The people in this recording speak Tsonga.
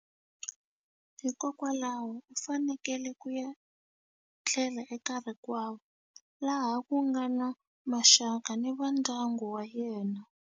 Hikokwalaho u fanekele ku ya tlela eka rikwavo laha ku nga na maxaka ni va ndyangu wa yena.